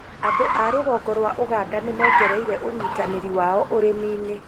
Andũ a rũgongo rwa ũganda nĩmongereire ũnyitanĩri wao ũrĩmi-inĩ